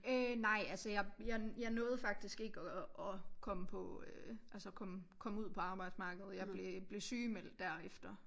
Øh nej altså jeg jeg nåede faktisk ikke at at komme på øh altså komme komme ud på arbejdsmarkedet jeg blev blev sygemeldt derefter